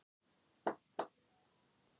Kannski var það að lokast inni?